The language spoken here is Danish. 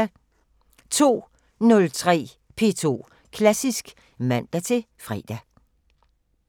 02:03: P2 Klassisk (man-fre)